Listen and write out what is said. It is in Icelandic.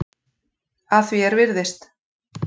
Að því er virðist.